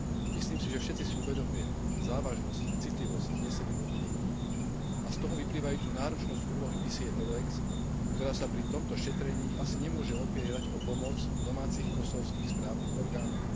Myslím si, že všetci si uvedomujeme závažnosť a citlivosť vznesených obvinení a z toho vyplývajúcu náročnosť úlohy misie EULEX, ktorá sa pri tomto šetrení asi nemôže opierať o pomoc domácich kosovských správnych orgánov.